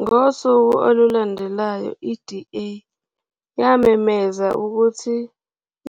Ngosuku olulandelayo, i-DA yamemezela ukuthi